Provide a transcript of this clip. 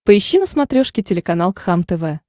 поищи на смотрешке телеканал кхлм тв